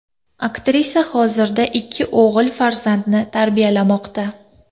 Aktrisa hozirda ikki o‘g‘il farzandni tarbiyalamoqda.